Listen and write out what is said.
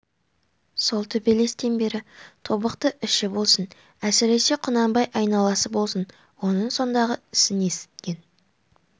сол төбелестен бері тобықты іші болсын әсіресе құнанбай айналасы болсын оның сондағы ісін есіткен